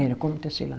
Era como tecelã.